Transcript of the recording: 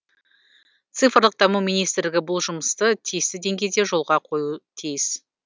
цифрлық даму министрлігі бұл жұмысты тиісті деңгейде жолға қоюы тиіс